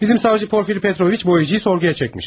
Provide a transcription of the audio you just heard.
Bizim savcı Porfiriy Petroviç boyacıyı sorğuya çekmiş.